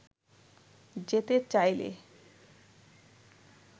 যেতে চাইলে